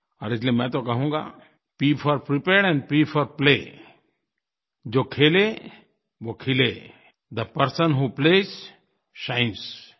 और इसलिये मैं तो कहूँगा P for prepared and P for play जो खेले वो खिले थे पर्सन व्हो प्लेज शाइन्स